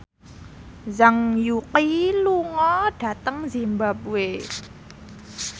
Zhang Yuqi lunga dhateng zimbabwe